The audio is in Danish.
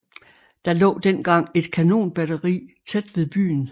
Der lå dengang et kanonbatteri tæt ved byen